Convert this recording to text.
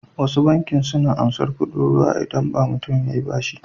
Wasu bankin suna ansar kuɗin ruwa idabn mutun yayi bashi